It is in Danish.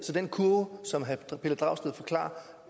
til den kurve som herre pelle dragsted forklarer